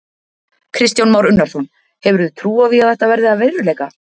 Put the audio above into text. Kristján Már Unnarsson: Hefurðu trú á því að þetta verði að veruleika?